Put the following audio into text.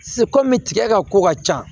kɔmi tigɛ ka ko ka ca